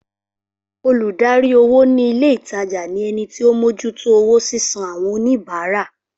Olùdarí owó ni ilé ìtajà ni ẹnití ọ mójú tó owó sísan àwọn oníbàárà